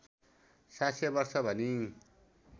७०० वर्ष भनी